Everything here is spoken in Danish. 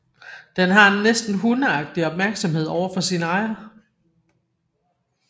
Den har en næsten hundeagtig opmærksomhed over for sin ejer